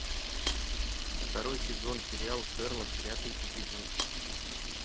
второй сезон сериал шерлок пятый эпизод